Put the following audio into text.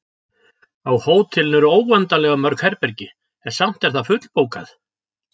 Á hótelinu eru óendanlega mörg herbergi, en samt er það fullbókað.